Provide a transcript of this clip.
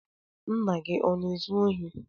Ńnà gị ọ na-ezu ohi?